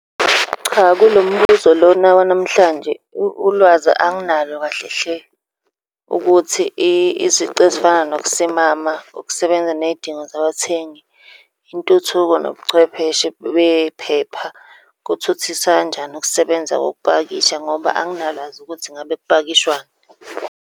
Cha, kulo mbuzo lona wanamhlanje ulwazi anginalo kahle hle, ukuthi izici ezifana nokusimama ukusebenza ney'dingo zabathengi, intuthuko, nobuchwepheshe bephepha, kuthuthisa kanjani ukusebenza kokupakisha, ngoba anginalwazi ukuthi ngabe kupakishwani.